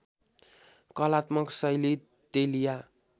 कलात्मक शैली तेलिया